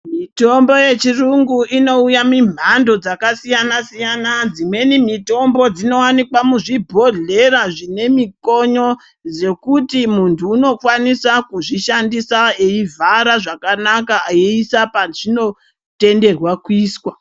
Mitombo yechirungu inouya mimhando dzakasiyana siyana dzimweni mitombo dzinowanikwa muzvibhodhlera zvinemikonyo dzekuti muntu unokwanisa kuzvishandisa eivhara zvakanaka eiisa pazvinotenderwa kuisa.